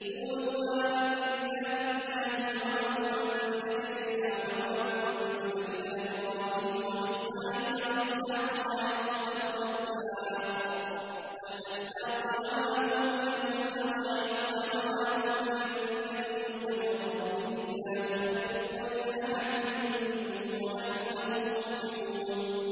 قُولُوا آمَنَّا بِاللَّهِ وَمَا أُنزِلَ إِلَيْنَا وَمَا أُنزِلَ إِلَىٰ إِبْرَاهِيمَ وَإِسْمَاعِيلَ وَإِسْحَاقَ وَيَعْقُوبَ وَالْأَسْبَاطِ وَمَا أُوتِيَ مُوسَىٰ وَعِيسَىٰ وَمَا أُوتِيَ النَّبِيُّونَ مِن رَّبِّهِمْ لَا نُفَرِّقُ بَيْنَ أَحَدٍ مِّنْهُمْ وَنَحْنُ لَهُ مُسْلِمُونَ